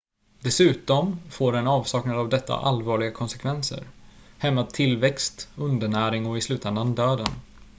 dessutom får en avsaknad av detta allvarliga konsekvenser hämmad tillväxt undernäring och i slutändan döden